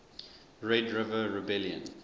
red river rebellion